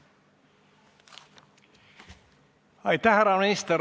Aitäh, härra minister!